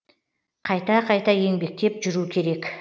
қайта қайта еңбектеп жүру керек